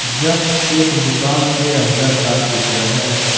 यह एक दुकान के अंदर का चित्र है।